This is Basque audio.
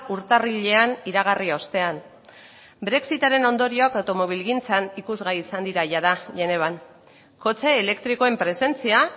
urtarrilean iragarri ostean brexitaren ondorioak automobilgintzan ikusgai izan dira jada genevan kotxe elektrikoen presentzia